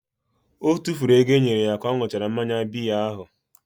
O tufuru ego e nyere ya ka ọ ṅụchara mmanya biya ahụ.